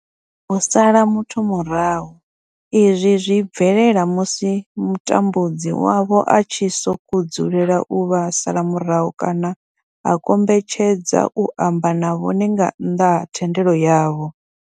U sala muthu murahu izwi zwi bvelela musi mutambudzi wavho a tshi sokou dzulela u vha sala murahu kana a kombetshedza u amba na vhone nga nnḓa ha thendelo yavho.